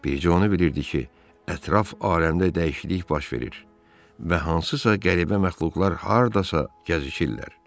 Bir sözlə o bilirdi ki, ətraf aləmdə dəyişiklik baş verir və hansısa qəribə məxluqlar hardasa gəzişirlər.